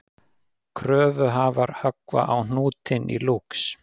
Kröfuhafar höggva á hnútinn í Lúx